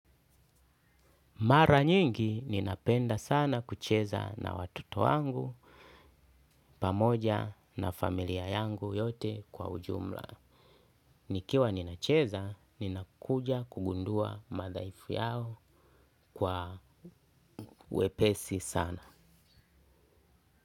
Mara nyingi ninapenda sana kucheza na watoto wangu, pamoja na familia yangu yote kwa ujumla. Nikiwa ninacheza, ninakuja kugundua madhaifu yao kwa wepesi sana.